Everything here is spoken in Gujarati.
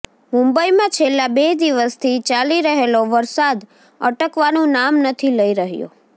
મુંબઈમાં છેલ્લા બે દિવસથી ચાલી રહેલો વરસાદ અટકવાનું નામ નથી લઈ રહ્યો